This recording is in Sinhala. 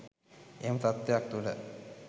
එහෙම තත්ත්වයක් තුළ